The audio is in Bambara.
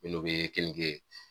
Minnu bi kini ye.